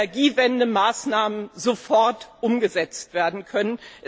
in Energiewendemaßnahmen sofort umgesetzt werden können.